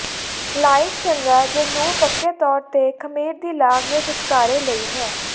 life ਚੰਗਾ ਜ ਨੂੰ ਪੱਕੇ ਤੌਰ ਤੇ ਖਮੀਰ ਦੀ ਲਾਗ ਦੇ ਛੁਟਕਾਰੇ ਲਈ ਹੈ